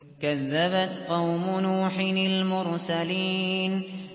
كَذَّبَتْ قَوْمُ نُوحٍ الْمُرْسَلِينَ